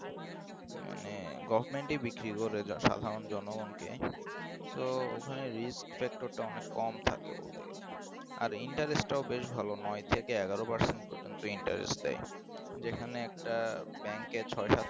মানে government বিক্রি করে সাধারণ জনগণকে so ওখানে risk factors টা অনেক কম থাকে বলতে গেলে আর interest টাও বেশ ভালো নয় থেকে এগারো পার্সেন্ট এর মত interest দেয় যেখানে একটা bank ছয় সাত